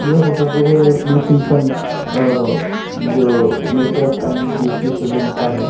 यह फोटो जो है ब्लुसींगटन अ जो मेकअप एंड ब्यूटी सलोन का है।